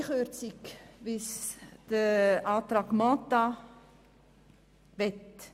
Zur halben Kürzung, wie sie die Planungserklärung Mentha möchte: